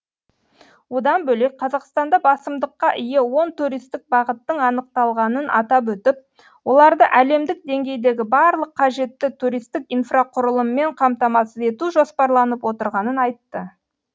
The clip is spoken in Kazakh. одан бөлек қазақстанда басымдыққа ие он туристік бағыттың анықталғанын атап өтіп оларды әлемдік деңгейдегі барлық қажетті туристік инфрақұрылыммен қамтамасыз ету жоспарланып отырғанын айтты